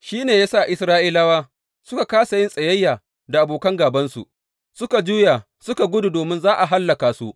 Shi ne ya sa Isra’ilawa suka kāsa yin tsayayya da abokan gābansu; suka juya suka gudu domin za a hallaka su.